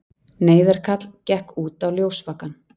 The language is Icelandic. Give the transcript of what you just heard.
Neyðarkall gekk út á ljósvakann.